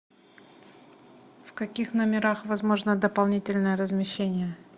в каких номерах возможно дополнительное размещение